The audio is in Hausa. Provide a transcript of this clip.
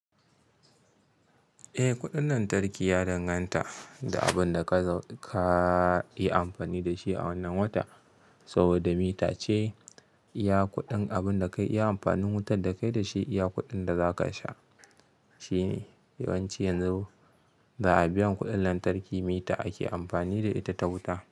Eh, kuɗin lantarki ya danganta da abin da ka zo ka yi amfani da shi a wannan wata. Saboda mita ce iya kuɗin, abin da ka yi amfani wutar da kai da shi iya kuɗin da za ka sha. Shi ne yawanci yanzu ba a biya kuɗin lantarki. Mita ake amfani da ita ta wuta.